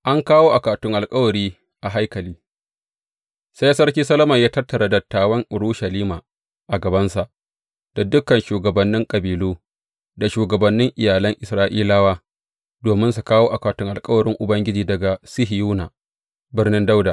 An kawo akwatin alkawari a haikali Sai Sarki Solomon ya tattara dattawan Urushalima a gabansa, da dukan shugabannin kabilu, da shugabannin iyalan Isra’ilawa, domin su kawo akwatin alkawarin Ubangiji daga Sihiyona, Birnin Dawuda.